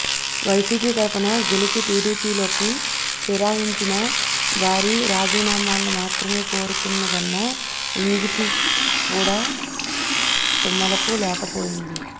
YCP తరపున గెలిచి టిడిపిలోకి ఫిరాయించిన వారి రాజీనామాలను మాత్రమే కోరుతున్నదన్న ఇంగితం కూడా తమ్ముళ్ళకు లేకపోయింది